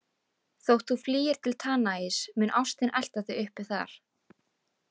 "Þótt þú flýir til Tanais mun ástin elta þig uppi þar. """